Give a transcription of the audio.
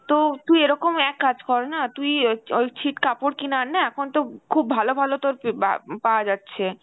তো তুই এরকম এক কাজ কর না, তুই ওই ,ওই ছিট কাপড় কিনে আন না এখন তো খুব ভালো ভালো তোর যে বা~ পাওয়া যাচ্ছে